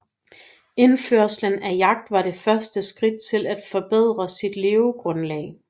Indførelsen af jagt var det første skridt til at forbedre sit levegrundlag